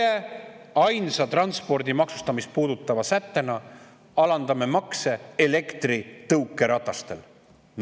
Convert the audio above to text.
Et nemad ainsa transpordi maksustamist puudutava sättena alandavad elektritõukerataste makse.